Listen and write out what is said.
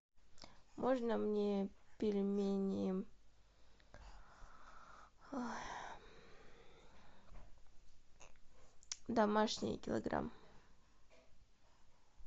можно мне пельмени домашние килограмм